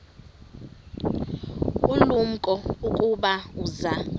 ulumko ukuba uza